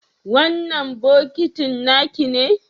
wannan bokitin nakine?